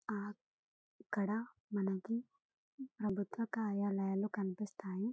ఆ ఇక్కడ మనకు బుద్ధ కాయ లయలు కనిపిస్తాయి.